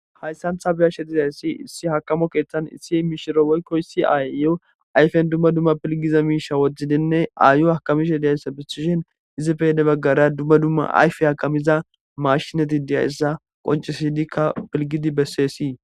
hayssantha biyashe dizayssi issi hakamo keeththan issi imishiro woykkoyssi ayyo ayfen dumma dumma pilgiza miisha wodzidinne aayo hakamisha diyayssa bissishen izipeyede baggara dumma dumma ayfe hakamiza mashinati diyayssa qoncisidikka pilgidi bessessii